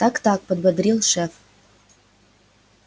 так-так подбодрил шеф